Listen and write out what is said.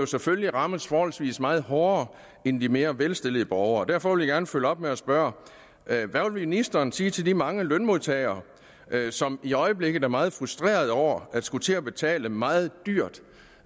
selvfølgelig rammes forholdsvis meget hårdere end de mere velstillede borgere derfor vil jeg godt følge op ved at spørge hvad vil ministeren sige til de mange lønmodtagere som i øjeblikket er meget frustrerede over at skulle til at betale meget dyrt